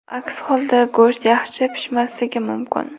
Aks holda go‘sht yaxshi pishmasligi mumkin.